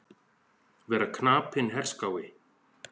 Vera knapinn herskái.